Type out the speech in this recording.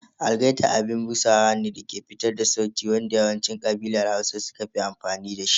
Algaita abin busawa ne dake fitar da sauti wanda yawancin ƙabilar Hausa suka fi amfani da shi.